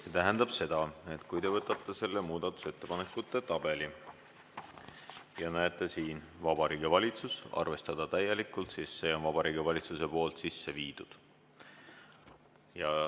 See tähendab seda, et kui te võtate ette muudatusettepanekute tabeli ja näete "Vabariigi Valitsus, arvestada täielikult", siis selle on Vabariigi Valitsus sisse viinud.